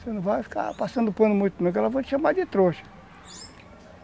Você não vai ficar passando pano muito não, porque elas vão te chamar de trouxa.